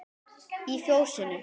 Í Fjósinu